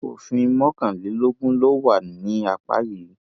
òfin mọkànlélógún ló wà ní apá yìí